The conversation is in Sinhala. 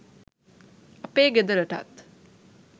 අපේ ගෙදරටත්